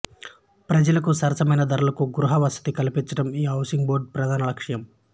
ప్రజలకు సరసమైన ధరలకు గృహ వసతి కల్పించడం ఈ హౌసింగ్ బోర్డు ప్రధాన లక్ష్యం